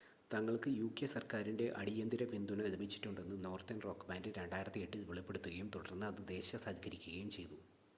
തങ്ങൾക്ക് യുകെ സർക്കാരിൻ്റെ അടീയന്തര പിന്തുണ ലഭിച്ചിട്ടുണ്ടെന്ന് നോർത്തേൺ റോക്ക് ബാൻ്റ് 2008 ൽ വെളിപ്പെടുത്തുകയും തുടർന്ന് അത് ദേശസാൽക്കരിക്കുകയും ചെയ്തു